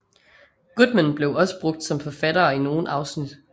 Goodman også blev brugt som forfattere i nogle afsnit